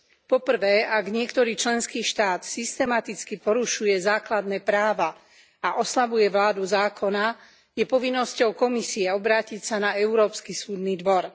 Po prvé, ak niektorý členský štát systematicky porušuje základné práva a oslabuje vládu zákona, je povinnosťou Komisie obrátiť sa na Európsky súdny dvor.